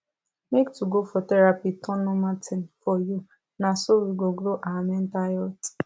make to go for therapy turn normal thing for you na so we go grow our mental health